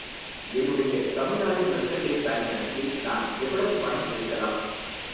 என்னுடைய Tamil Nadu mercantile bank கணக்கில் நான் எவ்வளவு பணம் எடுக்கலாம்?